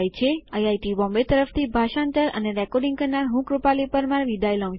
IIT Bombay તરફ થી ભાષાંતર કરનાર હું છું કૃપાલી પરમારઆભાર